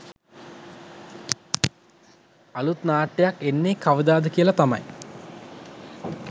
අලුත් නාට්‍යයක් එන්නේ කවදාද කියලා තමයි.